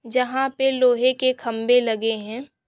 जहाँ पे लोहे के खंबे लगे है।